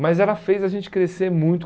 Mas ela fez a gente crescer muito.